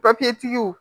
papiyetigiw